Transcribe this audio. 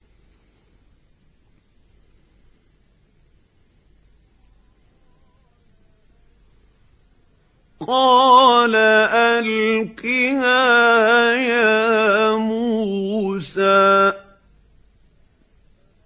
قَالَ أَلْقِهَا يَا مُوسَىٰ